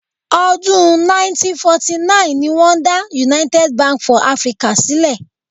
Ọdún 1949 ni wọ́n dá United Bank for Africa sílẹ̀.